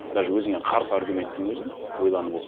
даже өзіңе қарсы аргументтің өзін ойланып оқу